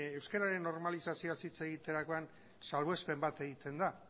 euskararen normalizazioaz hitz egiterakoan salbuespen bat egiten da